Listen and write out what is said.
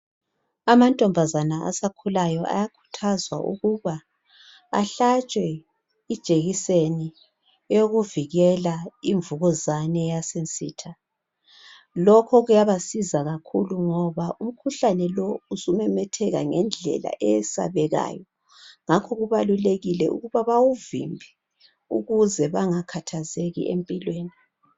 Amantombazana asakhulayo ayakhuthazwa ukuba ahlatshwe ijekiseni yokuvikela imvukuzane yasensitha. Lokhu kuyabasiza kakhulu ngoba umkhuhlane lo usumemetheka ngendlela eyesabekayo ngakho kubalulekile ukuba bawuvimbe ukuze bangakhathazeki empilweni.